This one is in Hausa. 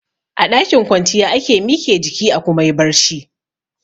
A ɗakin kwanciya ake mike jiki a kuma yi barci